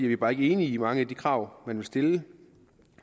vi bare ikke enige i mange af de krav man vil stille